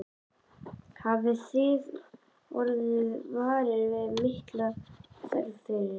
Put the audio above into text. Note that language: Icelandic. Hrund: Hafið þið orðið varir við mikla þörf fyrir þetta?